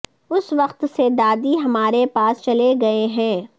اس وقت سے دادی ہمارے پاس چلے گئے ہیں